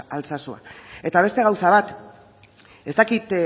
altsasua eta beste gauza bat ez dakit